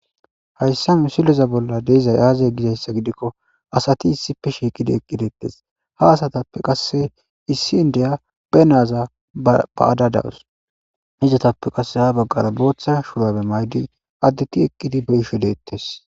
hayssa me sileza bolla deizay aaze gizayssa gidikko asati issipe shiiqidi eqqideettes ha asatappe qasse issi in deya be naaza ba7adadawus hijatappe qasse ha baggara booththa shurabe maydi addetti eqqidi beisho deettes